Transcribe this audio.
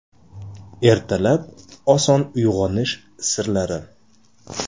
Ertalab oson uyg‘onish sirlari.